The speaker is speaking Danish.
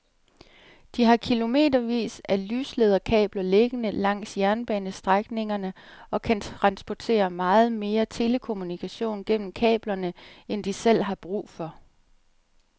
De har kilometervis af lyslederkabler liggende langs jernbanestrækningerne og kan transportere meget mere telekommunikation gennem kablerne end de selv har brug for.